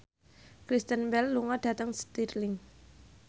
Kristen Bell lunga dhateng Stirling